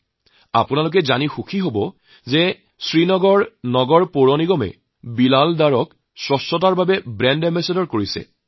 আপোনালোকে জানি সুখী হব যে শ্ৰীনগৰ পৌৰ নিগমে বিলাল ডাৰক স্বচ্ছতা অভিযানৰ ব্ৰেণ্ড এম্বেছাডৰ ৰূপে নিয়োগ কৰিছে